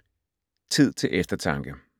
Tid til eftertanke